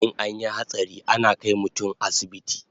In anyi hatsari ana kai mutun asibiti